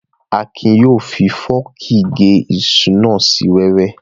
Akin yóò fi fọ́ọ̀kì gé iṣu náà sí wẹ́wẹ́